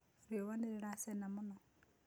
Rĩũa nĩrĩracĩna mũno.